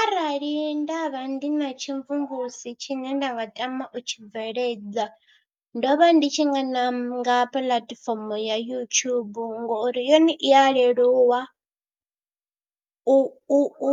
Arali nda vha ndi na tshimvumvusi tshine nda nga tama u tshi bveledza ndo vha ndi tshi nga nanga puḽatifomo ya YouTube ngori yone i ya leluwa u u u